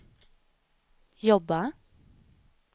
jobba